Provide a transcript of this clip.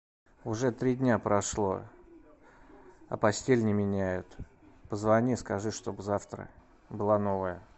уже три дня прошло а постель не меняют позвони скажи чтобы завтра была новая